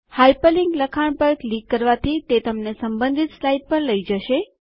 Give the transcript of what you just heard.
hyperlink લખાણ પર click કરવાથી તે તમને સંબંધિત સ્લાઇડ પર લઈ જશે